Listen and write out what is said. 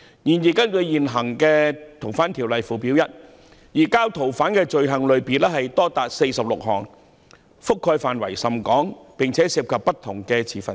然而，根據現行《逃犯條例》附表 1， 移交逃犯的罪行類別多達46項，覆蓋範圍甚廣，而且涉及不同的持份者。